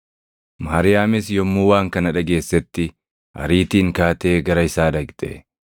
Maariyaamis yommuu waan kana dhageessetti ariitiin kaatee gara isaa dhaqxe.